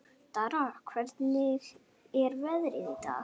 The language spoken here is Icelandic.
Dara, hvernig er veðrið í dag?